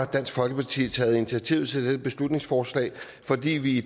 dansk folkeparti har taget initiativ til dette beslutningsforslag fordi vi